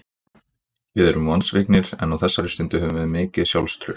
Við erum vonsviknir en á þessari stundu höfum við mikið sjálfstraust.